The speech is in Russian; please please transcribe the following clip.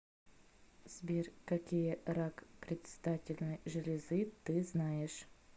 сбер какие рак предстательной железы ты знаешь